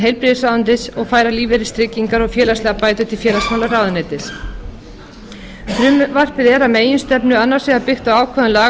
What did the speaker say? heilbrigðisráðuneytis og færa lífeyristryggingar og félagslegar bætur til félagsmálaráðuneytis frumvarpið er að meginstefnu annars vegar byggt á ákvæðum laga